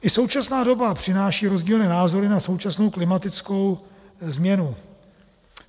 I současná doba přináší rozdílné názory na současnou klimatickou změnu.